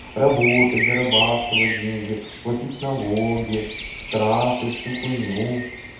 работать зарабатывать деньги платить налоги штрафы всю хуйню